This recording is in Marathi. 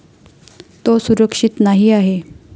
तो सुरक्षित नाही आहे.